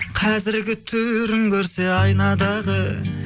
қазіргі түрін көрсе айнадағы